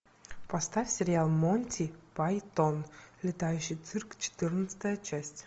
поставь сериал монти пайтон летающий цирк четырнадцатая часть